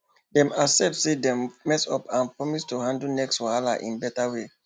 dem accept say dem mess up and promise to handle next wahala in better way